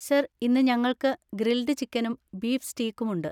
Sir, ഇന്ന് ഞങ്ങൾക്ക് grilled ചിക്കനും ബീഫ് സ്റ്റീകും ഉണ്ട്.